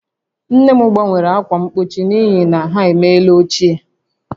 Nne m gbanwere ákwà mgbochi n'ihi na ha emeela ochie